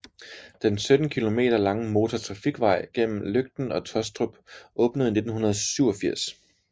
Den 17 kilometer lange motortrafikvej mellem Løgten og Tåstrup åbnede i 1987